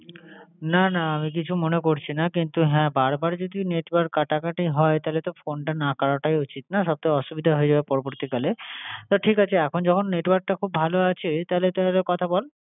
না, না আমি কিছু মনে করছিনা কিন্তু হ্যাঁ বার বার যদি network কাটাকাটি হয় তাহলে তো phone টা না কাটাটাই উচিৎ। ঠিক না? সব তো অসুবিধা হয়ে যাবে পরবর্তীকালে। তো, ঠিক আছে এখন যখন network টা খুব ভালো আছে তাহলে তাহলে কথা বল।